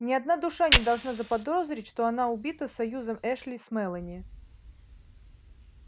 ни одна душа не должна заподозрить что она убита союзом эшли с мелани